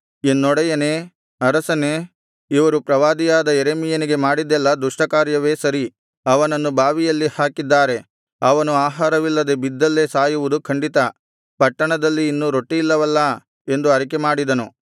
ಎನ್ನೊಡೆಯನೇ ಅರಸನೇ ಇವರು ಪ್ರವಾದಿಯಾದ ಯೆರೆಮೀಯನಿಗೆ ಮಾಡಿದ್ದೆಲ್ಲಾ ದುಷ್ಟಕಾರ್ಯವೇ ಸರಿ ಅವನನ್ನು ಬಾವಿಯಲ್ಲಿ ಹಾಕಿದ್ದಾರೆ ಅವನು ಆಹಾರವಿಲ್ಲದೆ ಬಿದ್ದಲ್ಲೇ ಸಾಯುವುದು ಖಂಡಿತ ಪಟ್ಟಣದಲ್ಲಿ ಇನ್ನು ರೊಟ್ಟಿಯಿಲ್ಲವಲ್ಲಾ ಎಂದು ಅರಿಕೆಮಾಡಿದನು